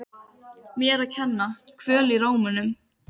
Mér að kenna- Kvöl í rómnum.